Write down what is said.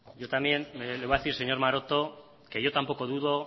yo también le voy a decir señor maroto que yo tampoco dudo